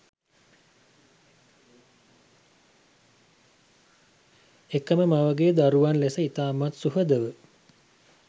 එකම මවගේ දරුවන් ලෙස ඉතාමත් සුහදව